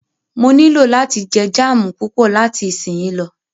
Mó nilò láti jẹ jáámù púpọ̀ láti isínyì lọ.